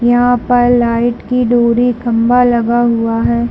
यहाँ पर लाइट की डोरी खम्भा लगा हुआ है।